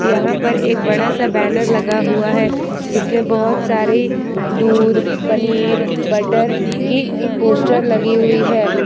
यहाँ पर एक बड़ा सा बैनर लगा हुआ है जिसमे बहोत सारी दूध पनीर बटर की पोस्टर लगी हुई हैं।